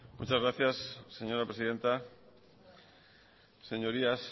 muchas gracias señora presidenta señorías